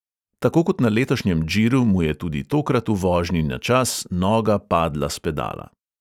Tako kot na letošnjem džiru, mu je tudi tokrat v vožnji na čas noga padla s pedala.